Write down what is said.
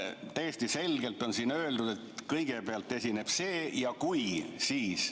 Täiesti selgelt on öeldud, et kõigepealt esineb see ja "kui, siis ...".